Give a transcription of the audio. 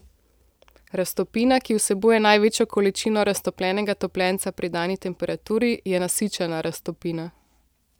Raztopina, ki vsebuje največjo količino raztopljenega topljenca pri dani temperaturi, je nasičena raztopina.